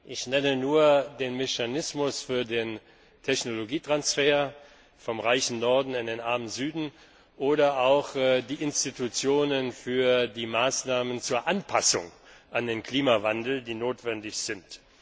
Ich nenne nur den Mechanismus für den Technologietransfer vom reichen Norden in den armen Süden oder auch die Institutionen für die Maßnahmen zur Anpassung an den Klimawandel, die notwendig sind.